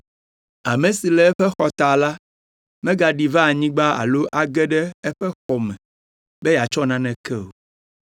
Ame si le eƒe xɔta la megaɖi va anyigba alo age ɖe eƒe xɔ me be yeatsɔ naneke o.